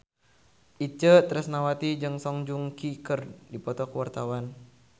Itje Tresnawati jeung Song Joong Ki keur dipoto ku wartawan